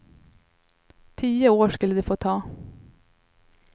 Tio år skulle det få ta.